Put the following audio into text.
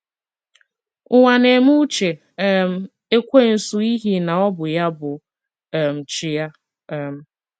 Ụwa na - eme uche um Ekwensu ’ihi na ọ bụ ya bụ um chi ya. um